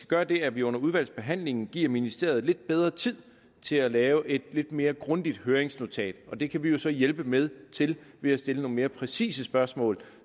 gøre det at vi under udvalgsbehandlingen giver ministeriet lidt bedre tid til at lave et lidt mere grundigt høringsnotat og det kan vi jo så hjælpe med til ved at stille nogle mere præcise spørgsmål